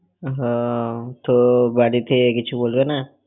আহ তোর বাড়িতে কিছু বলবে না?